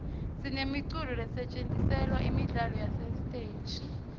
sinemiculo lesetjentiselwa imidlalo yesiteji